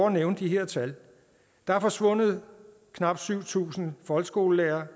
at nævne de her tal der er forsvundet knap syv tusind folkeskolelærere